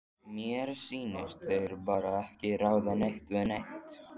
Mér sýnist þeir bara ekki ráða neitt við neitt.